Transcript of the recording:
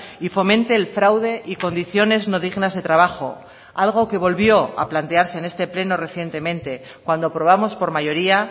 y fomente el fraude y condiciones no dignas de trabajo algo que volvió a plantearse en este pleno recientemente cuando aprobamos por mayoría